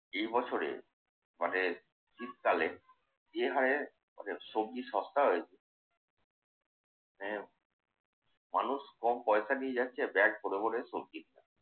এই বছরে মানে শীতকালে বের হয়ে ওদের সবজি সস্তা হয়েছে। মানে মানুষ কম পয়সা নিয়ে যাচ্ছে ব্যাগ ভরে ভরে সবজি কিনে আনছে।